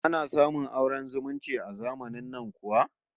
Ana samun auren zumunci a zamanin nan kuwa?